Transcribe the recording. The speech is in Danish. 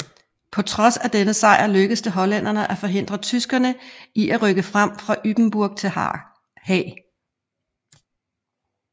På trods af denne sejr lykkedes det hollænderne at forhindre tyskerne i at rykke frem fra Ypenburg til Haag